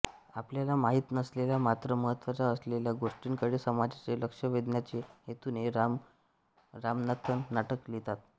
आपल्याला माहित नसलेल्या मात्र महत्त्वाच्या असलेल्या गोष्टींकडे समाजाचे लक्ष वेधण्याच्या हेतूने रामू रामनाथन नाटकं लिहितात